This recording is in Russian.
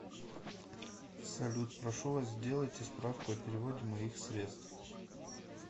салют прошу вас сделайте справку о переводе моих средств